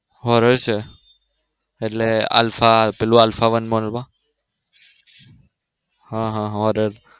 horror છે એટલે alpha પેલું આલ્ફા one mall માં હા હા horror